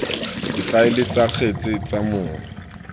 difaele tsa kgetse tsa mong